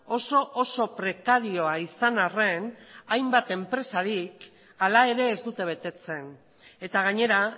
oso oso prekarioa izan harren hainbat enpresarik ala ere ez dute betetzen eta gainera